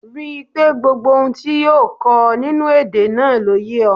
Rí i pé gbogbo ohun tí yóò kọ́ ọ nínú èdè náà ló yé ọ